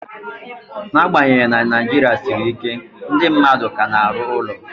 N'agbanyeghị na Naijiria siri ike, ndị mmadụ ka na-arụ ụlọ